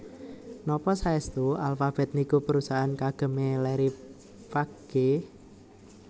Nopo saestu Alphabet niku perusahaan kagem e Larry Page